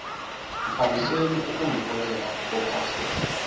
mfaniseni ukungiholela ophathe